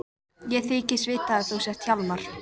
Ég þykist vita að þú sért Hjálmar.